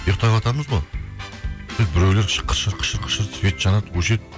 ұйықтаватамыз ғой сөйтіп біреулер свет жанады өшеді